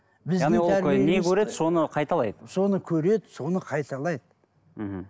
не көреді соны қайталайды соны көреді соны қайталайды мхм